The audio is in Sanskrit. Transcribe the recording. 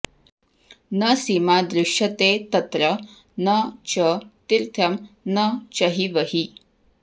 न सीमा दृश्यते तत्र न च तिर्थ्यं न चहिवहि